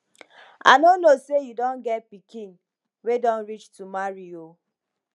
i no know say you don get pikin wey don reach to marry oo